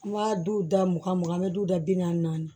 An b'a du da mugan mugan an bɛ duw da bi naani